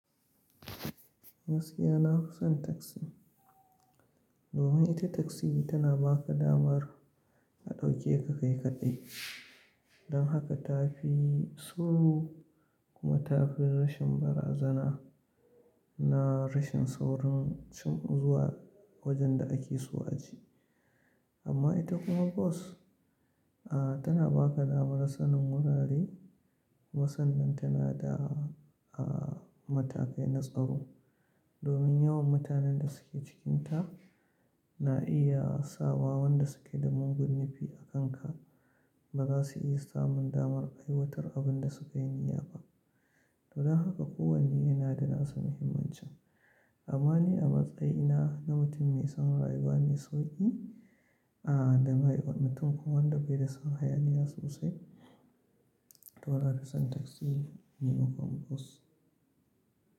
Gaskiya na fi son taksi, domin ita taksi tana ba ka damar a ɗauke ka kai kaɗai. Don haka tafi suru kuma tafi rashin barazana na rashin saurin zuwa wajen da ake so a je. Amma ita kuma bas, a tana ba ka damar sanin wurare musamman tana da a matakai na tsaro. Domin yawan mutanen da suke cikinta na iya sa wa wanda suke da mugun nufi a kanka ba za su iya samun damar aiwatar abin da sukayi niyya ba. Don haka kowane yana da nasa muhimmancin. Amma ni a matsayina na mutum mai son rayuwa mai sauƙi a da ma'aiwar, mutum kuma wanda bai da son hayaniya sosai, to nafi son taksi ni makaman bas.